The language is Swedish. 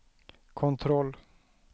kontroll